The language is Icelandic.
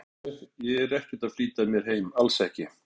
Sko. ég get alveg. ég er ekkert að flýta mér heim, alls ekki.